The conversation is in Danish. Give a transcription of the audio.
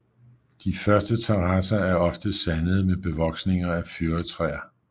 De første terrasser er ofte sandede med bevoksninger af fyrretræer